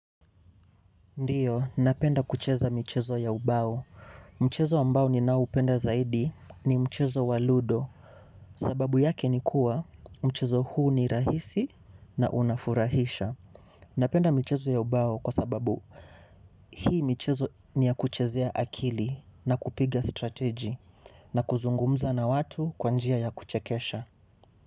Ndiyo, napenda kucheza michezo ya ubao. Mchezo ambao ninao upenda zaidi ni mchezo wa ludo. Sababu yake ni kuwa mchezo huu ni rahisi na unafurahisha. Napenda mchezo ya ubao kwa sababu hii michezo ni ya kuchezea akili na kupiga strategi na kuzungumza na watu kwa njia ya kuchekesha.